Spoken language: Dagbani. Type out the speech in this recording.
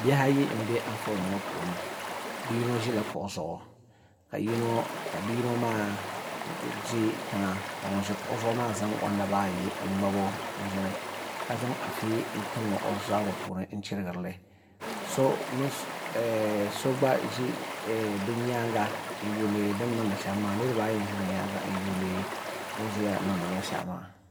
Bihi ayi n bɛ Anfooni ŋo puuni bia yino ʒila kuɣu zuɣu ka bia yino maa ka ŋun ʒi kuɣu zuɣu maa zaŋ o naba ayi n ŋmabo n ʒini ka zaŋ afi n tim o zabiri puuni n chirigirili so gba ʒi bi nyaanga niraba ayi n ʒi bi nyaanga n yuundi bi ni niŋdi shɛm maa